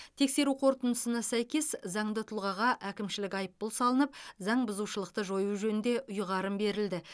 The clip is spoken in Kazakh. тексеру қорытындысына сәйкес заңды тұлғаға әкімшілік айыппұл салынып заңбұзушылықты жою жөнінде ұйғарым берілді